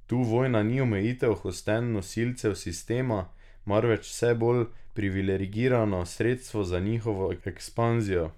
Tu vojna ni omejitev hotenj nosilcev sistema, marveč vse bolj privilegirano sredstvo za njihovo ekspanzijo.